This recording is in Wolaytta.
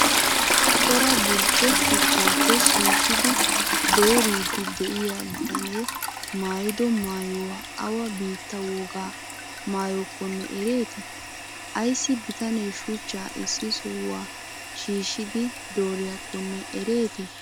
cora burcce shuchchappe shishshidi dooriyddi de'iya bitane maayido maayoy awa bittaa woga maayokkonne ereeti? aysi bitane shuchchaa issi sohuwa shiishshiddi dooriyaakkonee ereeti?